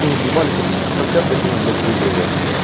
статистика как часто с ними былять выигрываю